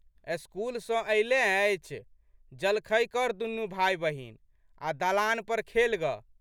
School सँ अयलेँ अछि। जलखै कर दुनू भाइबहिन आ' दलान पर खेल गऽ।